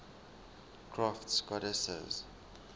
crafts goddesses